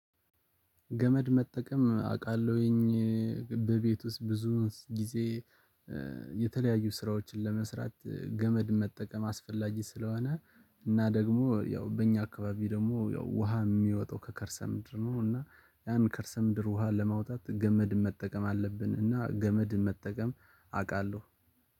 ገመድ መጠቀም አውቃለሁ በቤት ውስጥ ብዙ ጊዜ የተለያዩ ስራዎችን ለመስራት ገመድ መጠቀም አስፈላጊ ስለሆነ እና ደግሞ ያው በእኛ አካባቢ ደግሞ ያው ውሃ የሚወጣው ከከርሰ ምድር ነው፤ እና ያን ከርሰ ምድር ውሃ ለማውጣት ገመድ መጠቀም አለብን፤ እና ገመድ መጠቀም አውቃለሁ።